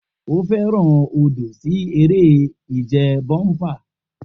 O fẹran odo si ere-ije bomper.